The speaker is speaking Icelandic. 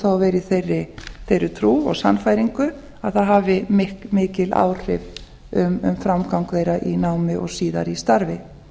að vera í þeirri trú og sannfæringu að það hafi mikil áhrif um framgang þeirra í námi og síðar í starfi